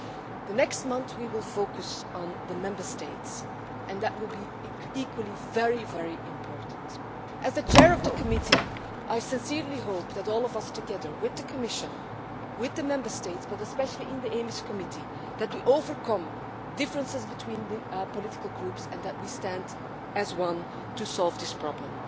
In the next month we will focus on the Member States, and that will equally be very important. As the Chair of the committee, I sincerely hope that all of us, together with the Commission, with the Member States, but especially in the EMIS committee, can overcome differences between the political groups and stand as one to solve this problem.